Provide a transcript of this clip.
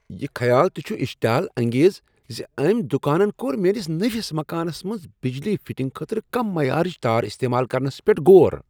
یہ خیال تہ چھ اشتعال انگیز ز أمۍ دکانن کوٚر میٲنس نٔوس مکانس منٛز بجلی فٹنگہِ خٲطرٕ کم معیارٕچ تار استعمال کرنس پیٹھ غور۔